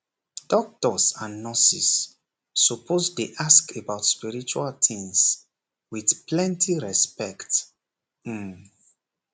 doctors and nurses suppose dey ask about spiritual things with plenty respect um